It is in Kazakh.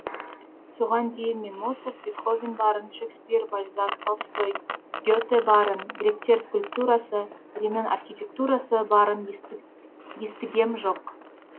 соған дейін мен моцарт бетховен барын шекспир бальзак толстой гете барын гректер скульптурасы римнің архитектурасы барын естігем жоқ